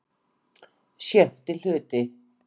VI Hluti